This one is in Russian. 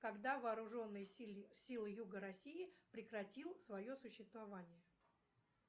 когда вооруженные силы юга россии прекратил свое существование